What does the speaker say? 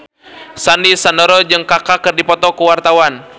Sandy Sandoro jeung Kaka keur dipoto ku wartawan